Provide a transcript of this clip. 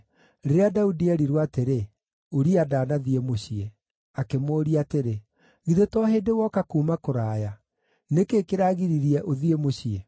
Rĩrĩa Daudi eerirwo atĩrĩ, “Uria ndaanathiĩ mũciĩ,” akĩmũũria atĩrĩ, “Githĩ to hĩndĩ woka kuuma kũraya? Nĩ kĩĩ kĩragiririe ũthiĩ mũciĩ?”